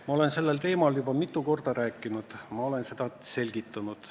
Ma olen sellel teemal juba mitu korda rääkinud, ma olen seda selgitanud.